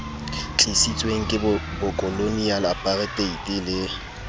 tlisitsweng ke bokoloniale aparteite le